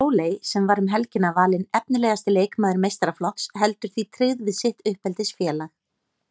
Sóley sem var um helgina valin efnilegasti leikmaður meistaraflokks heldur því tryggð við sitt uppeldisfélag.